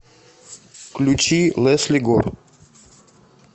включи лесли гор